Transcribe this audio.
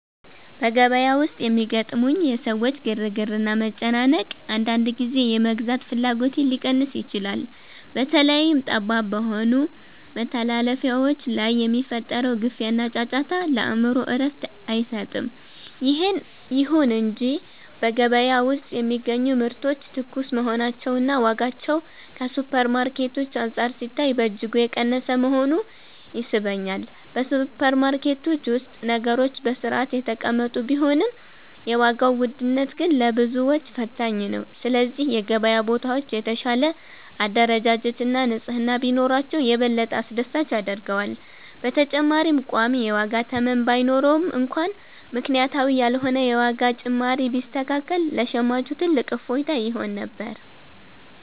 በገበያ ውስጥ የሚያጋጥሙኝ የሰዎች ግርግርና መጨናነቅ፣ አንዳንድ ጊዜ የመግዛት ፍላጎቴን ሊቀንስ ይችላል። በተለይም ጠባብ በሆኑ መተላለፊያዎች ላይ የሚፈጠረው ግፊያና ጫጫታ፣ ለአእምሮ እረፍት አይሰጥም። ይሁን እንጂ በገበያ ውስጥ የሚገኙ ምርቶች ትኩስ መሆናቸውና ዋጋቸውም ከሱፐርማርኬቶች አንፃር ሲታይ በእጅጉ የቀነሰ መሆኑ ይስበኛል። በሱፐርማርኬቶች ውስጥ ነገሮች በሥርዓት የተቀመጡ ቢሆንም፣ የዋጋው ውድነት ግን ለብዙዎች ፈታኝ ነው። ስለዚህ የገበያ ቦታዎች የተሻለ አደረጃጀትና ንጽሕና ቢኖራቸው፣ የበለጠ አስደሳች ያደርገዋል። በተጨማሪም ቋሚ የዋጋ ተመን ባይኖርም እንኳን፣ ምክንያታዊ ያልሆነ የዋጋ ጭማሪ ቢስተካከል ለሸማቹ ትልቅ እፎይታ ይሆን ነበር።